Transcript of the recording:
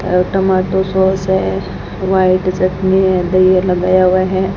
और टमाटर सॉस है हुमायू की चटनी है दहिया लगाया हुआ है।